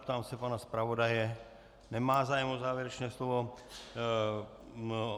Ptám se pana zpravodaje - nemá zájem o závěrečné slovo.